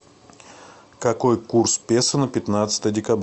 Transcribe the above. какой курс песо на пятнадцатое декабря